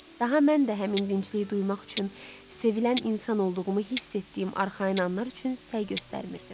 Daha mən də həmin dincliyi duymaq üçün, sevilən insan olduğumu hiss etdiyim arxayın anlar üçün səy göstərmirdim.